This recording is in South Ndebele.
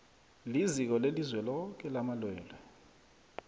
liziko lelizweloke lamalwelwe